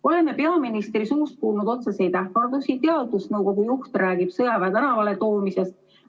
Oleme peaministri suust kuulnud otseseid ähvardusi, teadusnõukogu juht räägib sõjaväe tänavale toomisest.